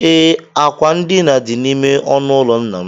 Ee, akwa ndina dị n'ime ọnụụlọ nna m